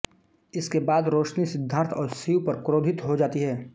इसके बाद रोशनी सिद्धार्थ और शिव पर क्रोधित हो जाती है